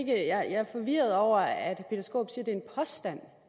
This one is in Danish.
jeg er forvirret over at